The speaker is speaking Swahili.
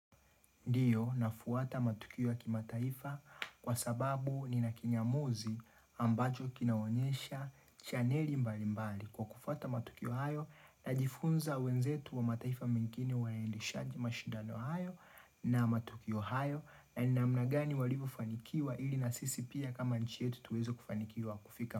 Ndiyo nafuata matukio ya kimataifa kwa sababu nina kinyamuzi ambacho kinaonyesha chaneli mbalimbali kwa kufuata matukio hayo najifunza wenzetu wa mataifa mengine waendeshaje mashindano hayo na matukio hayo na ni namna gani walivyofanikiwa ili na sisi pia kama nchi yetu tuweze kufanikiwa kufika.